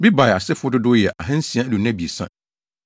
Bebai asefo dodow yɛ 2 623 1